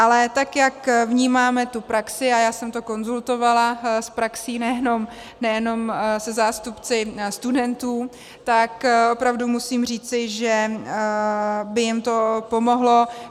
Ale tak jak vnímáme tu praxi, a já jsem to konzultovala s praxí, nejenom se zástupci studentů, tak opravdu musím říci, že by jim to pomohlo.